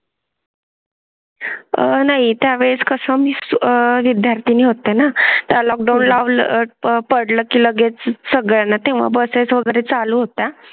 आणि त्या वेळेस कसं विद्यार्थी होते ना त्या लॉकडाऊन लावला पडलं की लगेच सगळ्या तेव्हा बसेस वगैरे चालू होता आणि त्या वेळेस कसं?